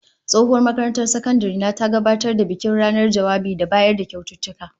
Tsohuwar makarantar sakandare na ta gabatar da bikin ranar jawabai da bayar da kyaututtuka